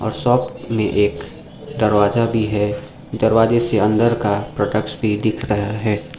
Shop में एक दरवाजा भी हैं दरवाजे से अंदर का प्रोडक्ट्स भी दिख रहा हैं।